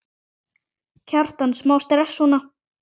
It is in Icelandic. Kjartan: Smá stress, svona?